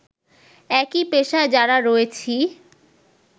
একই পেশায় যারা রয়েছি